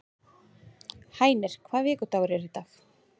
Hænir, hvaða vikudagur er í dag?